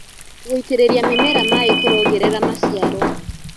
Gũĩtĩrĩrĩa mĩmera maĩ kũrongerera macĩaro